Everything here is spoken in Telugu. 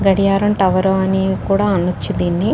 గడియారం టవర్ అని కూడా అన్నచ్చు దీన్ని.